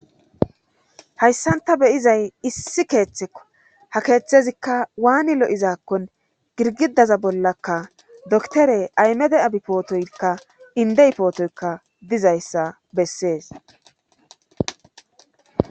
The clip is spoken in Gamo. Hayssan ta be7izay issi keeththekko ha keeththezikka waani lo7izaakkon girgidaza bollakka doktore aymede abipootoykka indeipootoykka dizayssa bessees.